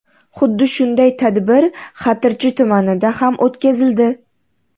Xuddi shunday tadbir Xatirchi tumanida ham o‘tkazildi.